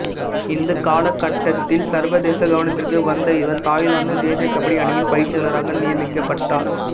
இந்த காலகட்டத்தில் சர்வதேச கவனத்திற்கு வந்த இவர் தாய்லாந்து தேசிய கபடி அணியின் பயிற்சியாளராக நியமிக்கப்பட்டார்